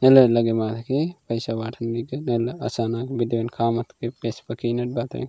वेले लगे मधकी पैसा वाठ मिगने लगे आसा नाम बिडेन खाम वेस मकीनेट बातें --